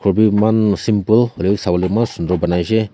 khor bi eman simple hoilae bi sawolae eman Sunder banaishey.